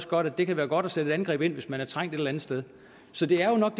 godt at det kan være godt at sætte et angreb ind hvis man er trængt et eller andet sted så det er jo nok